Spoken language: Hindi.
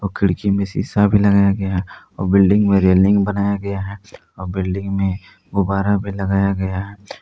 खिड़की में सीसा भी लगाया गया और बिल्डिंग में रेलिंग बनाया गया है बिल्डिंग में गुब्बारा भी लगाया गया है।